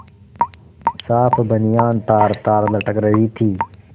साफ बनियान तारतार लटक रही थी